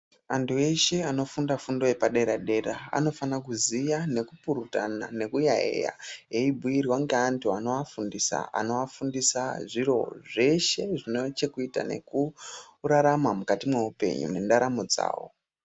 Antu eshe anofunda fundo yepadera-dera anofana kuziya nekupurutana nekuyaeya, eibhuirwa ngeantu anoafundisa, anoafundisa zviro zveshe, zvine chekuita nekurarama mukati mweupenyu mwendaramo dzavo.